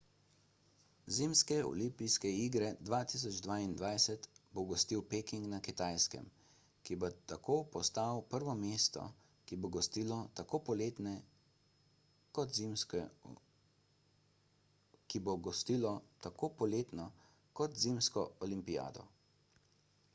zimske olimpijske igre 2022 bo gostil peking na kitajskem ki bo tako postal prvo mesto ki bo gostilo tako poletno kot zimsko olimpijado